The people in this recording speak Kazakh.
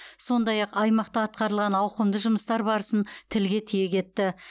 сондай ақ аймақта атқарылған ауқымды жұмыстар барысын тілге тиек етті